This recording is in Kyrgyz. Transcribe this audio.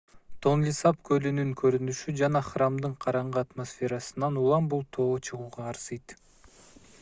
тонлесап көлүнүн көрүнүшү жана храмдын караңгы атмосферасынан улам бул тоо чыгууга арзыйт